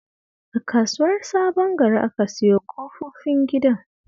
A Kasuwar Sabon Gari aka siyo ƙofifin gidan